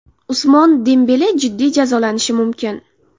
Usmon Dembele jiddiy jazolanishi mumkin.